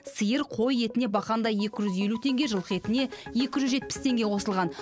сиыр қой етіне бақандай екі жүз елу теңге жылқы етіне екі жүз жетпіс теңге қосылған